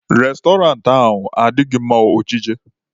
Restọrantị ahụ adịghị mma ọjije